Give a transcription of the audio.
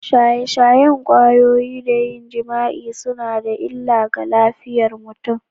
Shaye-shayen kwayoyi da yin jima’i suna da illa ga lafiyar mutum.